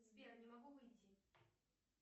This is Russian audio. сбер не могу выйти